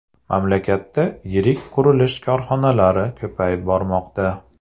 Mamlakatda yirik qurilish korxonalari ko‘payib bormoqda.